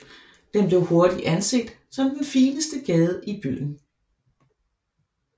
Den blev hurtigt anset som den fineste gade i byen